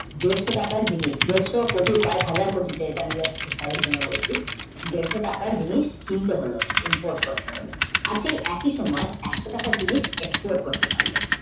দেড়শো টাকার জিনিস দেড়শো কোটি কয়েক কোটি তাঁদের জন্য বলছি দেড়শো টাকার জিনিস কিনতে হলো input করতে হলো আর সেই একই সময় একশ টাকার জিনিস export করতে পারলো